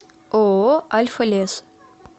ооо альфа лес